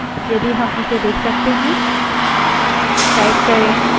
ls type करें और enter दबायें